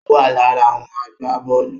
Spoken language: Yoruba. Ó wà lára àwọn agbábọ́ọ̀lù